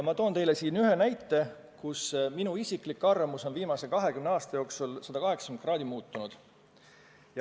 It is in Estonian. Ma toon teile ühe näite selle kohta, kus minu isiklik arvamus on viimase 20 aasta jooksul 180 kraadi muutunud.